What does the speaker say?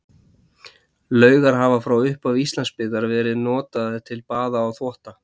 Laugar hafa frá upphafi Íslandsbyggðar verið notaðar til baða og þvotta.